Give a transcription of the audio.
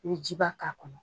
N bɛ jiba k'a kɔnɔ.